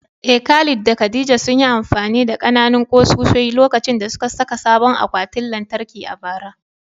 Eh, Khalid da Khadija sun yi amfani da ƙananan ƙusoshi lokacin da suka saka sabon akwatin lantarki a bara.